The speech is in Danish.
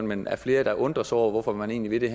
men af flere der undrer sig over hvorfor man egentlig vil